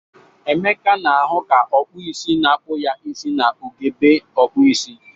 Emeka na-ahụ ka ọkpụisi na-akpụ ya isi na ugegbe okpuisi.